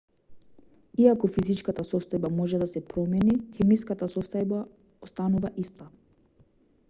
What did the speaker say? иако физичката состојба може да се промени хемиската состојба останува иста